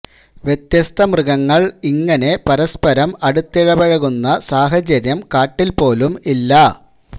വ്യത്യസ്ത മൃഗങ്ങള് ഇങ്ങനെ പരസ്പരം അടുത്തിടപഴകുന്ന സാഹചര്യം കാട്ടില് പോലും ഇല്ല